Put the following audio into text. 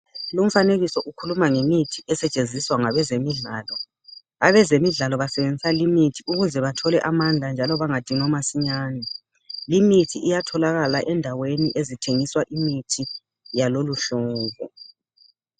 Lumfanekiso ukhuluma ngemithi esetshenziswa ngabezemidlalo. Abezemidlalo basebenzisa limithi ukuze bathole amandla njalo bangadinwa masinyane. Limithi iyatholakala ezindaweni okuthengiswa khona imithi yaloluhlobo.